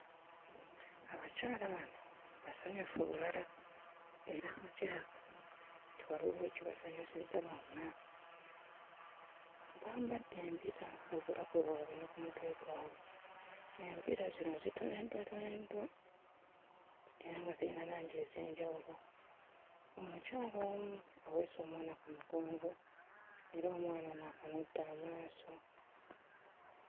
Abakyala bano basanyufu bulala era nga kirabika nti waliwo oba ekibasanyusizza bonna. Bambadde embira mu bulago bwabwe ne ku mutwe gwabwe. Embira zino zitoneddwatoneddwa era nga zirina langi ez'enjawulo. Omukyala omu aweese omwana ku mugongo era omwana ono akanudde amaaso.